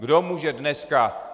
Kdo může dneska...